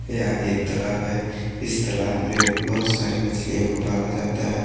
यह एक तालाब है इस तालाब में बहुत सारी मछलियों को पाला जाता है।